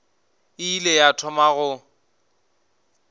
e ile ya thoma go